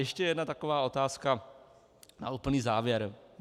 Ještě jedna taková otázka na úplný závěr.